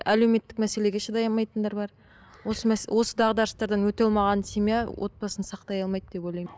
әлеуметтік мәселеге шыдай алмайтындар бар осы осы дағдарыстардан өте алмаған семья отбасын сақтай алмайды деп ойлаймын